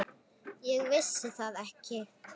Ég vissi það ekki.